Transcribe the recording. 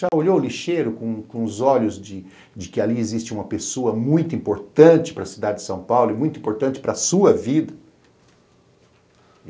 Já olhou o lixeiro com com os olhos de de que ali existe uma pessoa muito importante para a cidade de São Paulo e muito importante para a sua vida?